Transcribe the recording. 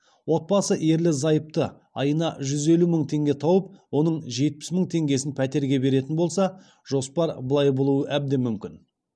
отбасы ерлі зайыпты айына жүз елу мың теңге тауып оның жетпіс мың теңгесін пәтерге беретін болса жоспар былай болуы әбден мүмкін